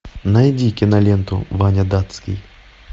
найди киноленту ваня датский